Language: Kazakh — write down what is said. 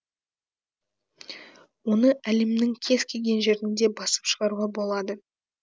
оны әлемнің кез келген жерінде басып шығаруға болады